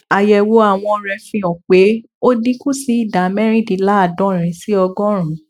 àyẹwò àwọn rẹ fi hàn pé ó dín kù sí ìdá mẹrìndínláàádọrin sí ọgọrùnún